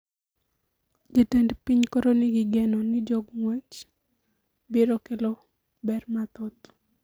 Jatend piny koro ni gi geno ni jongwech biro kelo ber mathoth